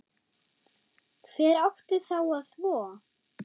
Hver átti þá að þvo?